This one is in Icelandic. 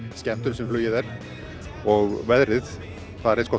skemmtun sem flugið er og veðrið það er eins gott